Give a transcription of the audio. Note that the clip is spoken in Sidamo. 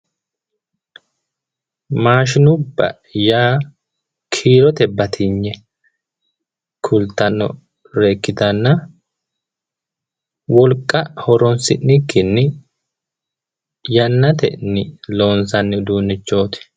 maashinubba yaa kiirote batinye kultannore ikkitanna wolqa horonsi'nikkinni yannatenni loonsanni uduunnichooti.